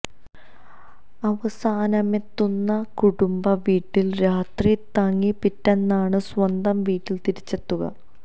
അവസാനമെത്തുന്ന കുടുംബ വീട്ടില് രാത്രി തങ്ങി പിറ്റേന്നാണ് സ്വന്തം വീട്ടില് തിരിച്ചെത്തുക